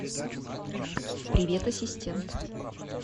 привет ассистент